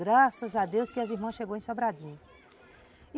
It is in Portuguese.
Graças a Deus que as irmãs chegaram em Sobradinho.